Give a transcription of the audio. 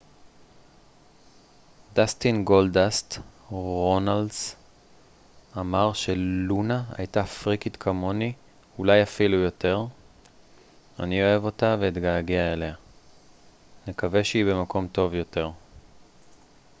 דאסטין גולדאסט רונלס אמר ש לונה הייתה פריקית כמוני אולי אפילו יותר אני אוהב אותה ואתגעגע אליה נקווה שהיא במקום טוב יותר